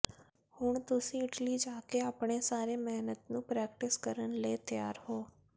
ਹੁਣ ਤੁਸੀਂ ਇਟਲੀ ਜਾ ਕੇ ਆਪਣੇ ਸਾਰੇ ਮਿਹਨਤ ਨੂੰ ਪ੍ਰੈਕਟਿਸ ਕਰਨ ਲਈ ਤਿਆਰ ਹੋ